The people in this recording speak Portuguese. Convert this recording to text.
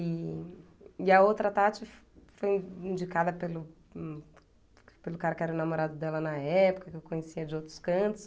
E e a outra Tati fo foi indicada pelo pelo cara que era o namorado dela na época, que eu conhecia de outros cantos.